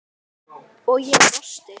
og ég brosti.